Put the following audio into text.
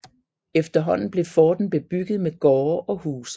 Efterhånden blev forten bebygget med gårde og huse